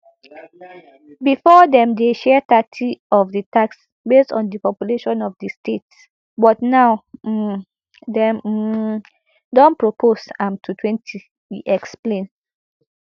bifor dem dey share thirty of di tax based on di population of di states but now um dem um don propose am to twenty e explain